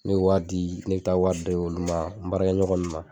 N' o y'a di ne bi taa wari bi taa ari d' olu ma n baarakɛ ɲɔgɔn nunnu ma